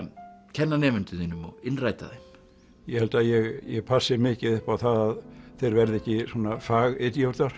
kenna nemendum þínum og innræta þeim ég held að ég passi mikið upp á það að þeir verði ekki